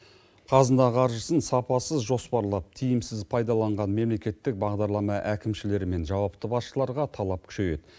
қазына қаржысын сапасыз жоспарлап тиімсіз пайдаланған мемлекеттік бағдарлама әкімшілері мен жауапты басшыларға талап күшейеді